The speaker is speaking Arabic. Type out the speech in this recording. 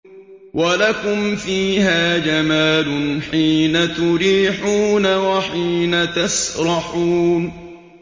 وَلَكُمْ فِيهَا جَمَالٌ حِينَ تُرِيحُونَ وَحِينَ تَسْرَحُونَ